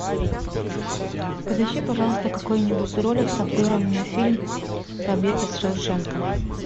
подыщи пожалуйста какой нибудь ролик с обзором на фильм побег из шоушенка